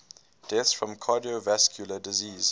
deaths from cardiovascular disease